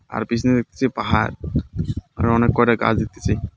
আর পিছনে দেখতেছি পাহাড় আর অনেক কয়েকটা গাছ দেখতেছি.